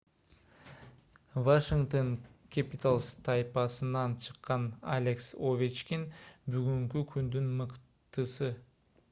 вашингтоон кэпиталз тайпасынан чыккан алекс овечкин бүгүнкү күндүн мыктысы